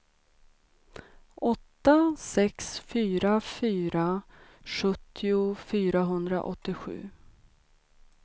åtta sex fyra fyra sjuttio fyrahundraåttiosju